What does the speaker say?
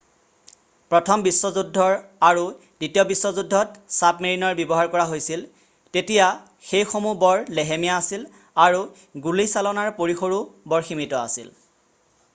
প্ৰথম বিশ্বযুদ্ধৰ আৰু দ্বিতীয় বিশ্বযুদ্ধত ছাবমেৰিনৰ ব্যৱহাৰ কৰা হৈছিল তেতিয়া সেইসমূহ্হ বৰ লেহেমীয়া আছিল আৰু গুলীচালনাৰ পৰিসৰো বৰ সীমিত আছিল